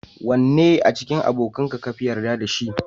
Wannne a cikin abokanka kafi yarda da shi?